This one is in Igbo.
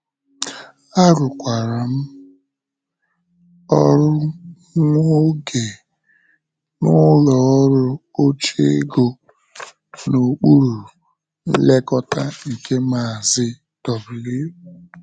Arụkwara m ọrụ nwa oge n’ụlọ ọrụ oche ego n’okpuru nlekọta nke maazi W.